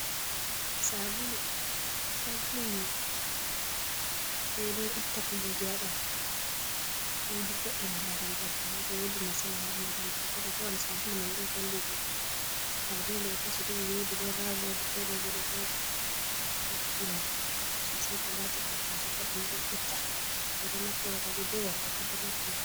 sabulu, sabulu yiwugo bedo itta kuduje ha bandu, do vo'ena laral bandu, to wodi masala ha bandu, sabulu mai do vallidira, dadum do kashi didi, don rawo wodi toh do boh oval. Don vo'ena bandu sosai, ko lati huduje pat dum do itta, bedo naftira ,robe be worbe pat do naftira.